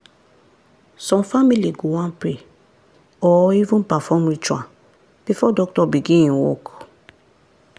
some family go wan pray or even perform ritual before doctor begin en work.